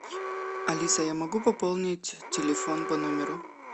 алиса я могу пополнить телефон по номеру